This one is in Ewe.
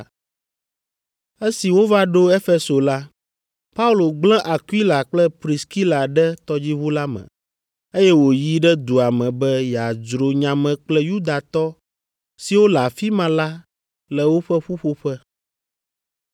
Esi wova ɖo Efeso la, Paulo gblẽ Akwila kple Priskila ɖe tɔdziʋu la me, eye wòyi ɖe dua me be yeadzro nya me kple Yudatɔ siwo le afi ma la le woƒe ƒuƒoƒe.